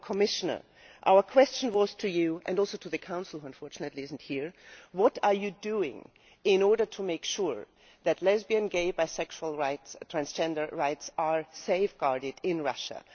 Commissioner, our question was to you and also to the Council, which unfortunately is not represented here today what are you doing in order to make sure that lesbian, gay, bisexual and transgender rights are safeguarded in Russia?